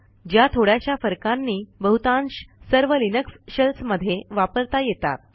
ज्या थोड्याशा फरकांनी बहुतांश सर्व लिनक्स शेल्स मध्ये वापरता येतात